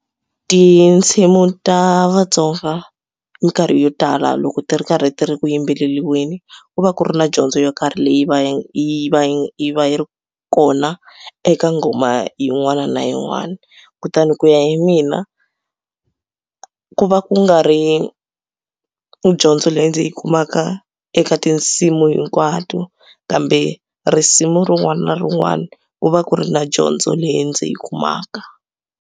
Tinsimu ta Vatsonga mikarhi yo tala loko ti ri karhi ti ri ku yimbeleriweni ku va ku ri na dyondzo yo karhi leyi va yi va yi yi va yi ri kona eka nghoma yin'wana na yin'wana kutani ku ya hi mina ku va ku nga ri dyondzo leyi ndzi yi kumaka eka tinsimu hinkwato kambe risimu rin'wana na rin'wana ku va ku ri na dyondzo leyi ndzi yi kumaka.